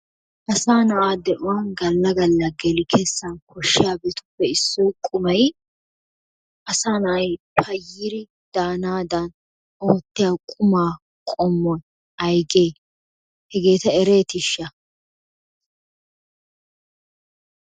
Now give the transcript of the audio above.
Asaa na'a de'uwa galla galla geli kessan koshshiyabatuppe issoy qummay asaa na'ay payyir daanaadan ootiya qummaa qommoy aygee hegeeta ereettisha?